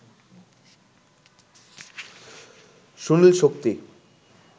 Sunil-Shakti